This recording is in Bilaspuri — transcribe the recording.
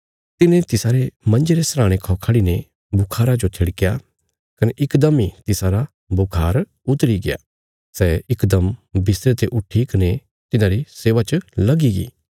तिने तिसारे मंजे रे सराहणे खौ खढ़ी ने बुखारा जो थिड़क्या कने इकदम इ तिसारा बुखार उतरीग्या सै इकदम बिस्तरे ते उट्ठीकने तिन्हांरी सेवा च लगी गी